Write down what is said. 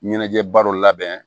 Ɲɛnajɛba dɔ labɛn